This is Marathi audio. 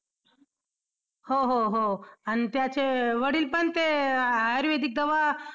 हो हो हो आणि त्याचे वडिलपण ते आयुर्वेदिक दवा